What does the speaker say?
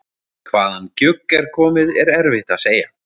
Hvaðan gjugg er komið er erfitt að segja.